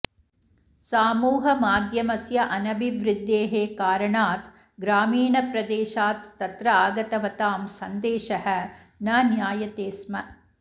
सामूहमाध्यमस्य अनभिवृद्द्धेः कारणात् ग्रामीणप्रदेशात् तत्र आगतवतां सन्देशः न ज्ञायते स्म